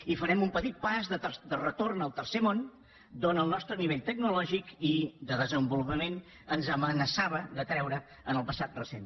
i farem un petit pas de retorn al tercer món d’on el nostre nivell tecnològic i de desenvolupament ens amenaçava de treure en el passat recent